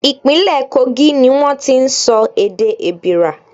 Ìpínlẹ̀ Kogi ni wón ti ń sọ èdè Èbìrà.